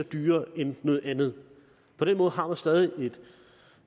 dyrere end andet på den måde har man stadig